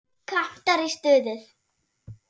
Kantar í stuði.